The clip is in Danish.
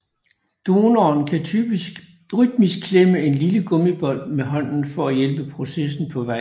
Donoren kan rytmisk klemme en lille gummibold med hånden for at hjælpe processen på vej